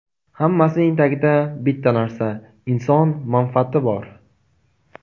Hammasining tagida bitta narsa - inson manfaati bor.